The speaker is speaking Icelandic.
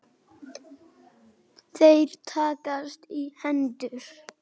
Þeir takast í hendur.